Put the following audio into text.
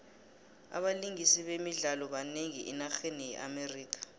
abalingisi bemidlalo banengi enarheni ye amerika